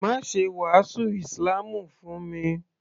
Má ṣe wàásù ísílámù fún mi